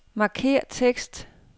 Markér tekst.